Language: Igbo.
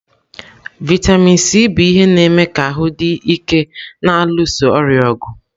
Vịatamin Sii bụ ihe na-eme ka ahụ dị ike na-alụso ọrịa ọgụ.